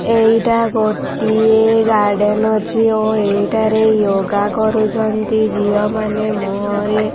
ଏଇଟା ଗୋଟିଏ ଗାର୍ଡେନ ଅଛି ଓ ଏହିଟାରେ ୟୋଗା କରୁଛନ୍ତି ଝିଅମାନେ ମୁହଁରେ --